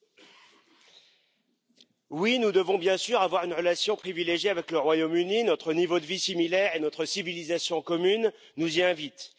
Madame la Présidente, oui, nous devons, bien sûr, avoir une relation privilégiée avec le Royaume Uni. Notre niveau de vie similaire et notre civilisation commune nous y invitent.